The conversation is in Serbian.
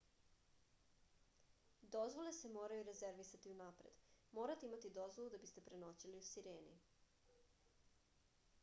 dozvole se moraju rezervisati unapred morate imati dozvolu da biste prenoćili u sireni